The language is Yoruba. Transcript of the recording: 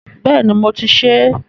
Bẹ́ẹ̀ni, mo ti ṣe é.